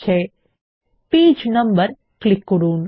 নথিতে পৃষ্ঠা নম্বর প্রদর্শন করাতে পেজ নাম্বার ক্লিক করুন